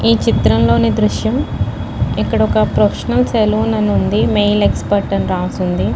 ఈ చిత్రంలోని దృశ్యం ఇక్కడ ఒక్క ప్రొఫెషనల్ సెలూన్ అని ఉంది మేల్ ఎక్సపట్ అని రాసుంది .